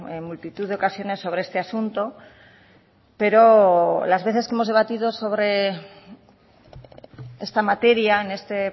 en multitud de ocasiones sobre este asunto pero las veces que hemos debatido sobre esta materia en este